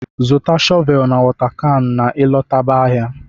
Zụta shọvel na wota kan na ị lọtaba ahịa!